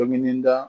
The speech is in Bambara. Ni nin da